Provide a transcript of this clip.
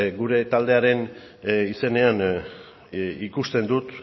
gure taldearen izenean ikusten dut